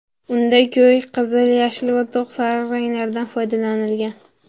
Unda ko‘k, qizil, yashil va to‘q sariq ranglardan foydalanilgan.